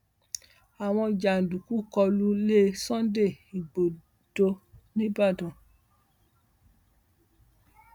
àwọn jàǹdùkú kọ lu ilé sunday igbodò nìbàdàn